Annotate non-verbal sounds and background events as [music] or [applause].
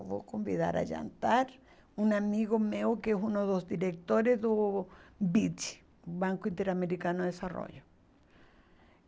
Eu vou convidar a jantar um amigo meu, que é um dos diretores do BID, Banco Interamericano de. [unintelligible]